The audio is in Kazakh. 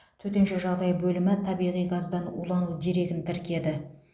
төтенше жағдай бөлімі табиғи газдан улану дерегін тіркеді